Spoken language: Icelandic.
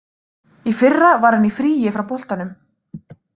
Í fyrra var hann í fríi frá boltanum.